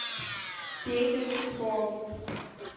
петя сурков